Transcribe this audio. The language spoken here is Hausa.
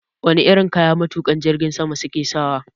Wane irin kaya matukan jirgin sama suke sawa?